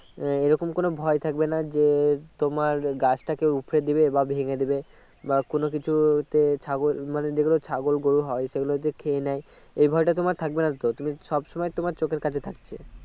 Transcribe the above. আহ এই রকম কোনো ভয় থাকবে না যে তোমার গাছটাকে উপরে দেবে বা ভেঙে দেবে বা কোনো কিছু তে মানে ছাগল মানে যেগুলো ছাগল গরু হয় সেগুলো যদি খেয়ে নেই এই ভয়টা তোমার থাকবেনাতো সব সময় তোমার চোখের কাছে থাকছে